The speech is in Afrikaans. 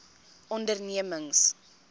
ondernemings